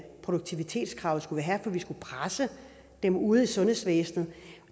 produktivitetskravet skulle vi have for vi skulle presse dem ude i sundhedsvæsenet